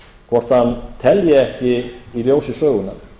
hvort hann telji ekki í ljósi sögunnar